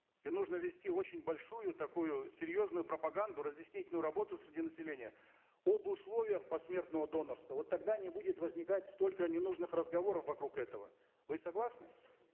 и нужно вести очень большую такую серьезную пропаганду разъяснительную работу среди населения об условиях посмертного донорства вот тогда не будет возникать столько ненужных разговоров вокруг этого вы согласны